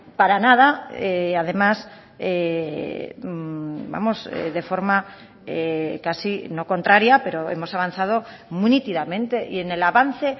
para nada además vamos de forma casi no contraria pero hemos avanzado muy nítidamente y en el avance